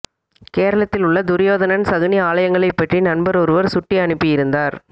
கேரளத்தில் உள்ள துரியோதனன் சகுனி ஆலயங்களைப்பற்றி நண்பர் ஒருவர் சுட்டி அனுப்பியிருந்தார்